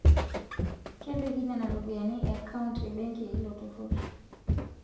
Kepiki nena ropiyiani akaunt ebenki eilo turrur